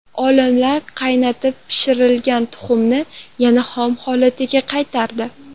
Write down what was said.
Olimlar qaynatib pishirilgan tuxumni yana xom holatiga qaytardi.